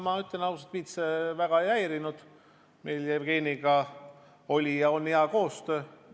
Ma ütlen ausalt, et mind see väga ei häirinud, meil Jevgeniga oli ja on hea koostöö.